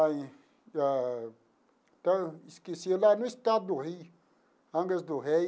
Ai ah então, esqueci lá no estado do Rio, Angras do Rei.